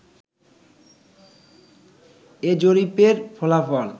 এ জরিপের ফলাফল